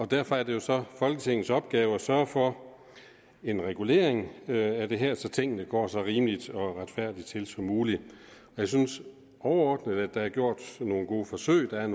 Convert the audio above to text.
derfor er det jo så folketingets opgave at sørge for en regulering af det her så tingene går så rimeligt og retfærdigt til som muligt jeg synes overordnet at der er gjort nogle gode forsøg jeg